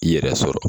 I yɛrɛ sɔrɔ